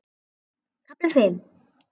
KAFLI FIMM